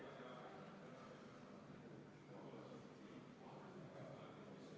Kuna eelnõu täiendatakse uue paragrahviga, siis komisjoni ettepanek on asendada senine § 2 §-ga 3 ja see paragrahv pealkirjastada.